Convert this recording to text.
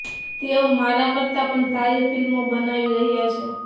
તેઓ મારા કરતાં પણ સારી ફિલ્મો બનાવી રહ્યાં છે